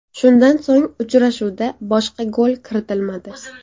Shundan so‘ng, uchrashuvda boshqa gol kiritilmadi.